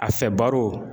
A fɛ baro